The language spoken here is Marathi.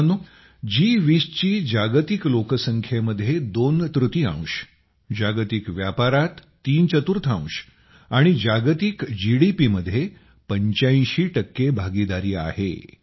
मित्रांनो जी20 ची जागतिक लोकसंख्येमध्ये दोन तृतीयांश जागतिक व्यापारात तीन चतुर्थांश आणि जागतिक जीडीपीमध्ये 85 भागीदारी आहे